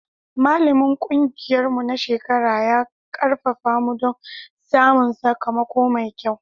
Malamin ƙungiyarmu na shekara ya ƙarfafa mu don samun sakamako mai kyau.